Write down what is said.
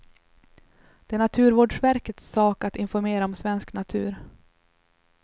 Det är naturvårdsverkets sak att informera om svensk natur.